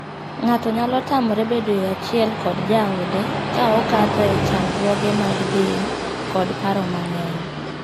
Ng'ato nyalo tamore bedoe achiel kod jaode ka okadhoe chandruoge mag del kod paro mang'eny.